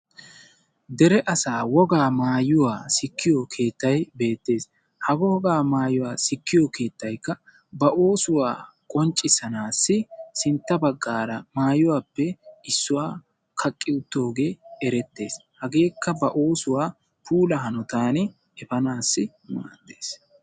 Dere asaa wogaa maayuwa sikkiyo keettay beettees. Ha wogaa maayuwa sikkiyo keettaykka ba oosuwa qonccissanaassi sintta baggaara maayuwaappe issuwa kaqqi uttoogee erettees. Hageekka ba oosuwaa puula hanotan efanaassi maaddees.